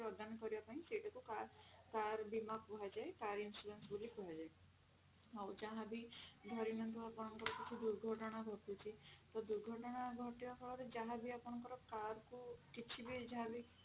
ଗୋଟେ ପ୍ରଦାନ କରିବାପାଇଁ ସେଇଟାକୁ car ବୀମା କୁହାଯାଏ car insurance ବୋଲି କୁହାଯାଏ ଆଉ ଯାହା ବି ଧରିନିଅନ୍ତୁ ଆପଙ୍କର କିଛି ବି ଦୁର୍ଘଟଣା ଘଟୁଛି ତ ଦୁର୍ଘଟଣା ଘଟିବା ପରେ ଯାହା ବି ଆପଙ୍କର car କୁ କିଛି ବି ଯାହା ବି